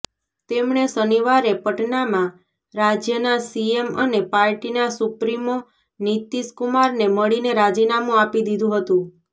તેમણે શનિવારે પટનામાં રાજ્યના સીએમ અને પાર્ટીના સુપ્રીમો નીતીશ કુમારને મળીને રાજીનામું આપી દીધું હતું